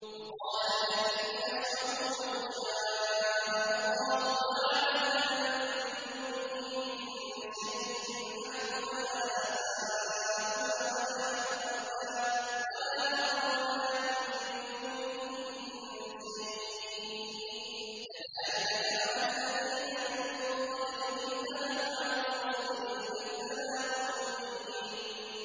وَقَالَ الَّذِينَ أَشْرَكُوا لَوْ شَاءَ اللَّهُ مَا عَبَدْنَا مِن دُونِهِ مِن شَيْءٍ نَّحْنُ وَلَا آبَاؤُنَا وَلَا حَرَّمْنَا مِن دُونِهِ مِن شَيْءٍ ۚ كَذَٰلِكَ فَعَلَ الَّذِينَ مِن قَبْلِهِمْ ۚ فَهَلْ عَلَى الرُّسُلِ إِلَّا الْبَلَاغُ الْمُبِينُ